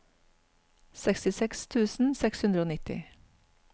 sekstiseks tusen seks hundre og nitti